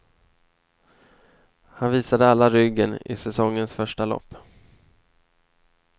Han visade alla ryggen i säsongens första lopp.